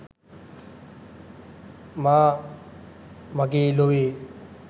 මා මගේ ලොවේ